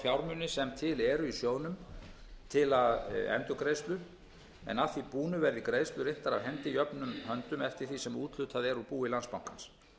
fjármuni sem til eru í sjóðnum til endurgreiðslu en að því búnu verði greiðslur inntar af hendi jöfnum höndum eftir því sem úthlutað er úr búi landsbankans